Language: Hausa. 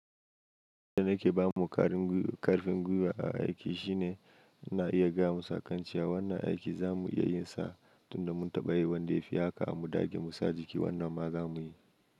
Abin da na ke ba mu karfin gwiwa a aiki shine ina iya gaya musu, akancewa wannan aiki za mu iya yin sa tunda mun taɓa yi wanda ya fi haka mu dage mu sa jiki wannan ma za mu yi.